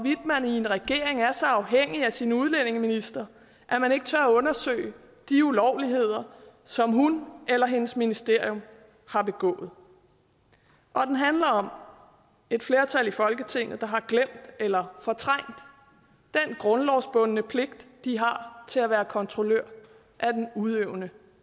man i en regering er så afhængig af sin udlændingeminister at man ikke tør undersøge de ulovligheder som hun eller hendes ministerium har begået og den handler om et flertal i folketinget der har glemt eller fortrængt den grundlovsbundne pligt de har til at være kontrollør af den udøvende